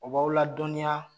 O b'aw la dɔɔninya